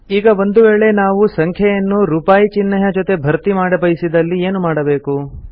ಈಗ ಒಂದು ವೇಳೆ ನಾವು ಸಂಖ್ಯೆ ಯನ್ನು ರುಪಾಯಿ ಚಿಹ್ನೆಯ ಜೊತೆ ಭರ್ತಿಮಾಡಬಯಸಿದಲ್ಲಿ ಏನು ಮಾಡಬೇಕು